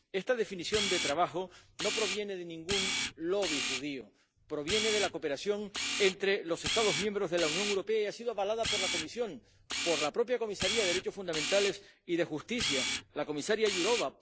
Esta definición de trabajo no proviene de ningún lobby judío proviene de la cooperación entre los Estados miembros de la Unión Europea y ha sido avalada por la Comisión, por la propia comisaria de Derechos Fundamentales y de Justicia, la comisaria Jourová